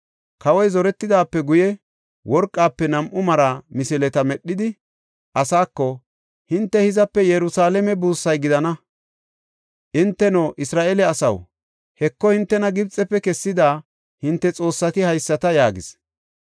Kawoy zoretidaape guye worqafe nam7u mara misileta medhidi, asaako, “Hinte hizape Yerusalaame buussay gidana. Hinteno Isra7eele asaw, Heko, hintena Gibxefe kessida hinte xoossati haysata!” yaagis.